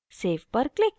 save पर click करें